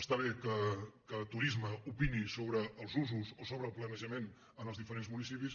està bé que turisme opini sobre els usos o sobre el planejament en els diferents municipis